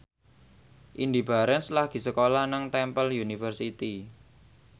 Indy Barens lagi sekolah nang Temple University